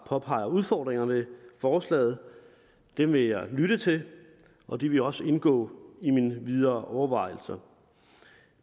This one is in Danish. påpeger udfordringerne i forslaget dem vil jeg lytte til og de vil også indgå i mine videre overvejelser